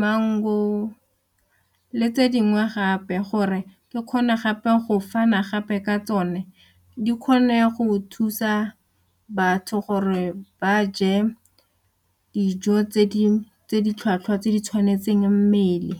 mango le tse dingwe gape gore ke kgona gape go fana gape ka tsone di kgone go thusa batho gore ba je dijo tse di ditlhwatlhwa tse di tshwanetseng mmele.